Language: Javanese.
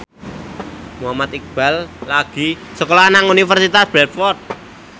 Muhammad Iqbal lagi sekolah nang Universitas Bradford